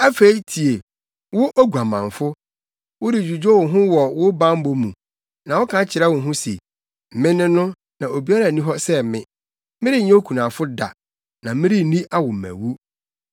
“Afei tie, wo oguamanfo, woredwudwo wo ho wɔ wo bammɔ mu na woka kyerɛ wo ho se, ‘me ne no, na obiara nni hɔ sɛ me. Merenyɛ okunafo da na merenni awommawu.’